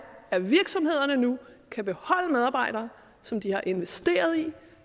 at virksomhederne nu kan beholde medarbejdere som de har investeret i